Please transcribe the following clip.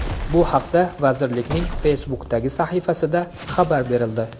Bu haqda vazirlikning Facebook’dagi sahifasida xabar berildi .